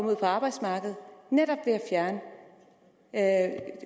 ud på arbejdsmarkedet netop ved at